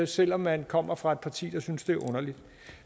selv om man kommer fra et parti der synes det er underligt